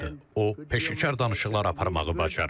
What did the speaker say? O peşəkar danışıqlar aparmağı bacarır.